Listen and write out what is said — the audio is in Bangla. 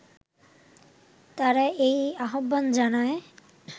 তারা এই আহ্বান জানায়